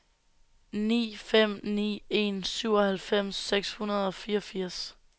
ni fem ni en syvoghalvfems seks hundrede og fireogfirs